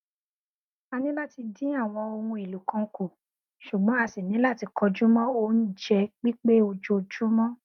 a ni láti dín àwọn ohun èlò kan kù ṣùgbọn a ṣì ní láti kọjú mọ oúnjẹ pípé ojoojúmọ